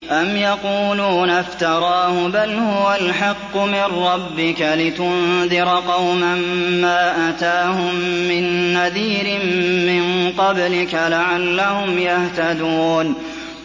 أَمْ يَقُولُونَ افْتَرَاهُ ۚ بَلْ هُوَ الْحَقُّ مِن رَّبِّكَ لِتُنذِرَ قَوْمًا مَّا أَتَاهُم مِّن نَّذِيرٍ مِّن قَبْلِكَ لَعَلَّهُمْ يَهْتَدُونَ